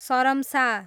सरम्सा